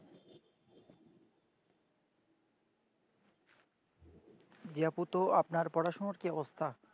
জি আপু তো আপনার পড়াশোনার কি অবস্তা